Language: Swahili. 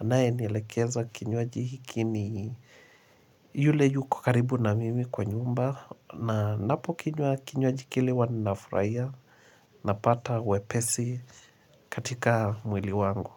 anayenielekeza kinywaji hiki ni yule yuko karibu na mimi kwa nyumba na napo kinywaji kile waninafurahia Napata wepesi katika mwili wangu.